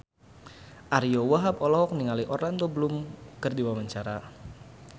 Ariyo Wahab olohok ningali Orlando Bloom keur diwawancara